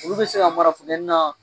Olu be se ka mara funtɛni na